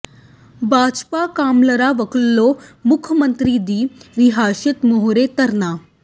ਭਾਜਪਾ ਕੌਾਸਲਰਾਂ ਵੱਲੋਂ ਮੁੱਖ ਮੰਤਰੀ ਦੀ ਰਿਹਾਇਸ਼ ਮੂਹਰੇ ਧਰਨਾ